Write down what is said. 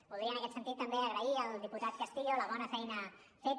voldria en aquest sentit també agrair al diputat castillo la bona feina feta